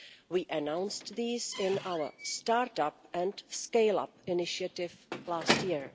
We announced these in our Start-up and Scale-up initiative last year.